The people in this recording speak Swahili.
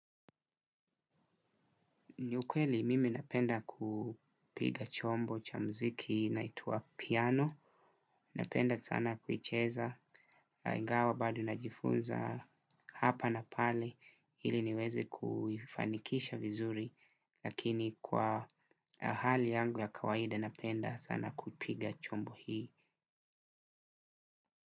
Ni ukweli mimi napenda kupiga chombo cha muziki inaitwa piano, napenda sana kuicheza, ingawa bado najifunza hapa na pale, ili niweze kuifanikisha vizuri, lakini kwa hali yangu ya kawaide napenda sana kupiga chombo hii.